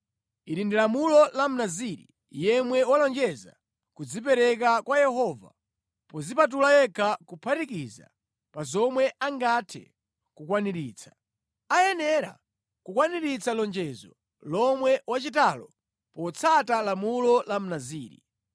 “Ili ndi lamulo la Mnaziri yemwe walonjeza kudzipereka kwa Yehova podzipatula yekha kuphatikiza pa zomwe angathe kukwaniritsa. Ayenera kukwaniritsa lonjezo lomwe wachitalo potsata lamulo la Mnaziri.”